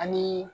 Ani